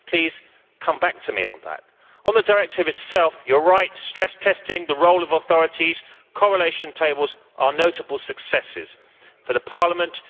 Please come back to me on that. On the directive itself, you are right stress testing, the role of authorities, correlation tables, are notable successes for Parliament.